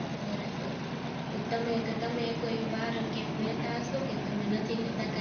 બરાબર પછી તમે કે તમે એકોય વાર કે એવું રેહતા હશો કે તમે નથી રેતા